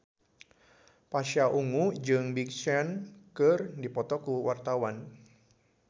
Pasha Ungu jeung Big Sean keur dipoto ku wartawan